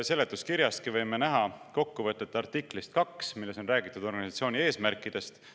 Seletuskirjastki võime näha kokkuvõtet artiklist 2, milles on räägitud organisatsiooni eesmärkidest.